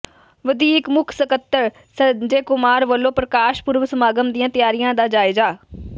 ਵਧੀਕ ਮੁੱਖ ਸਕੱਤਰ ਸੰਜੇ ਕੁਮਾਰ ਵਲੋਂ ਪ੍ਰਕਾਸ਼ ਪੁਰਬ ਸਮਾਗਮ ਦੀਆਂ ਤਿਆਰੀਆਂ ਦਾ ਜਾਇਜ਼ਾ